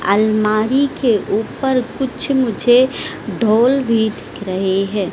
अलमारी के ऊपर कुछ मुझे ढोल भी दिख रहे हैं।